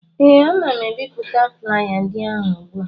ee, ana m ebipụta flaya ndị ahụ ugbu a